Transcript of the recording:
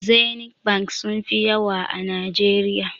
Zenith bank sunfi yawa a najeriya